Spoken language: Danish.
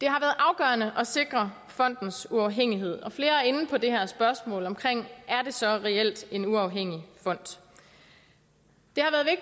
afgørende at sikre fondens uafhængighed og flere er inde på det her spørgsmål er det så reelt en uafhængig fond